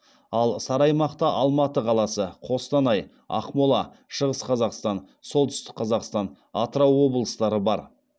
ал сары аймақта алматы қаласы қостанай ақмола шығыс қазақстан солтүстік қазақстан атырау облыстары бар